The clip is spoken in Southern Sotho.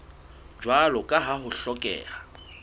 jwalo ka ha ho hlokeha